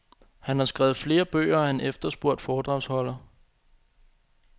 Han har skrevet flere bøger, og er en efterspurgt foredragsholder.